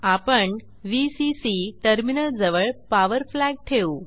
आपण व्हीसीसी टर्मिनलजवळ power flag ठेवू